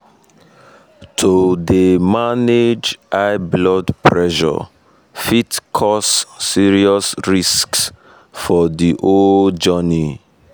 to dey um manage um high blood pressure fit cause serious risks for the whole um journey